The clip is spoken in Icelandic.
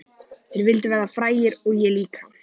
Þeir vildu verða frægir og ég líka.